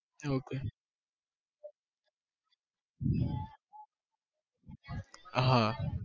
okay હાં